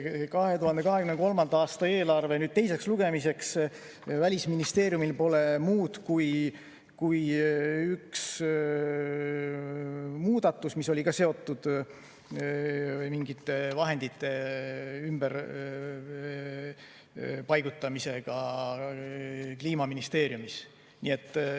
2023. aasta eelarve teiseks lugemiseks on Välisministeeriumil vaid üks muudatus, mis oli ka seotud mingite vahendite ümberpaigutamisega Kliimaministeeriumis.